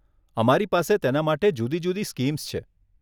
અમારી પાસે તેના માટે જુદી જુદી સ્કીમ્સ છે.